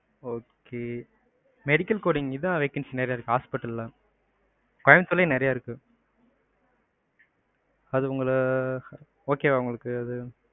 okay medical coding கு தான் vacancy நிறையா இருக்கு hospital ல. கோயம்புதூர்லையும் நிறையா இருக்கு. அது உங்கள okay வா அது உங்களுக்கு?